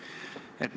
Aitäh!